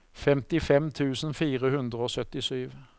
femtifem tusen fire hundre og syttisju